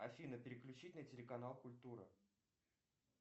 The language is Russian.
афина переключить на телеканал культура